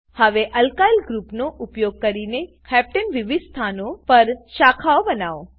હવે અલ્કાઈલ ગ્રુપનો ઉપયોગ કરી હેપ્ટને હેપટેન વિવિધ સ્થાનઓ પર શાખાઓ બનાવો